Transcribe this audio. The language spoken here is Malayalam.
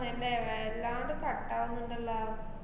അഹ് അന്‍റെ വല്ലാണ്ട് cut ആവിന്നിണ്ടല്ലാ.